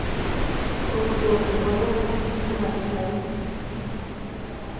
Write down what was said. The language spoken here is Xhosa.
komntwana kubanye abazali